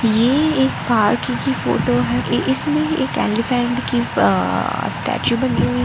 ये एक पार्क की फोटो है ये इसमें एक एलीफेंट की अ स्टेचू बनी हुई है।